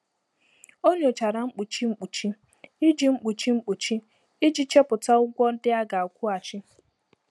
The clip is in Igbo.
Ọ nyochara mkpuchi mkpuchi iji mkpuchi mkpuchi iji chọpụta ụgwọ ndị a ga-akwụghachi.